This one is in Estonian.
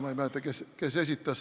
Ma ei mäleta, kes selle esitas.